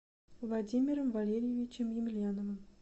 владимиром валерьевичем емельяновым